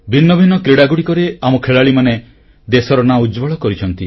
ଭିନ୍ନଭିନ୍ନ କ୍ରୀଡ଼ାଗୁଡ଼ିକରେ ଆମ ଖେଳାଳିମାନେ ଦେଶର ନାଁ ଉଜ୍ଜ୍ୱଳ କରିଛନ୍ତି